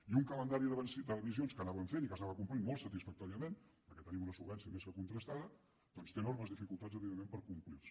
i un calendari d’emissions que anàvem fent i que s’anava complint molt satisfactòriament perquè tenim una solvència més que contrastada doncs té enormes dificultats evidentment per complirse